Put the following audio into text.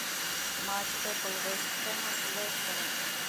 матч апл вест хэма с лестером